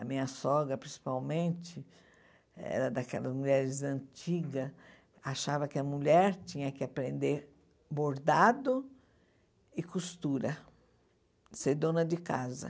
A minha sogra, principalmente, era daquelas mulheres antigas, achava que a mulher tinha que aprender bordado e costura, ser dona de casa.